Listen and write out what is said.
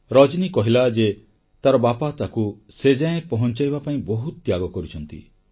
ରଜନୀ କହିଲା ଯେ ତାର ବାପା ତାକୁ ସେ ଯାଏ ପହଂଚାଇବା ପାଇଁ ବହୁତ ତ୍ୟାଗ କରିଛନ୍ତି